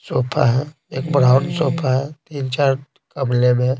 Sofa है एक brown sofa है तीन चार कमले में।